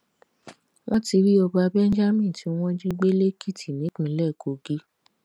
wọn ti rí ọba benjamin tí wọn jí gbé lèkìtì nípínlẹ kogi